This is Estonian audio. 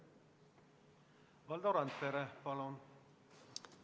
Valdo Randpere, palun!